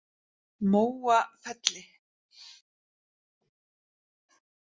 Móafelli